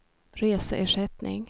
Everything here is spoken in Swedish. reseersättning